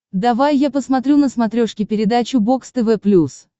давай я посмотрю на смотрешке передачу бокс тв плюс